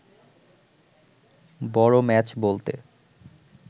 বড় ম্যাচ বলতে